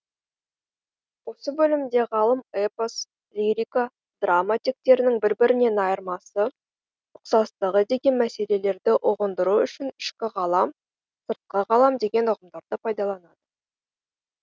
осы бөлімде ғалым эпос лирика драма тектерінің бір бірінен айырмасы ұқсастығы деген мәселелерді ұғындыру үшін ішкі ғалам сыртқы ғалам деген ұғымдарды пайдаланады